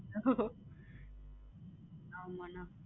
ஆமா அண்ணா